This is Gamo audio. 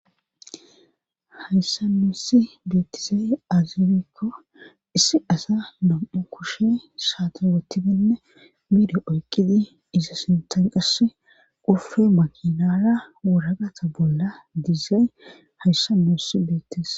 hayssannosi beettizae azirekko issi asa nom7u kushe saata wotidinne miida oyqqidi iza sintan qasse qufe makinara wuragata bolla dizay hayssannossi beettis